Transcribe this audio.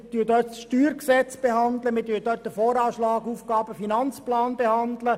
Wir werden ja in der Novembersession das Steuergesetz, den Voranschlag und den Aufgaben-/Finanzplan behandeln.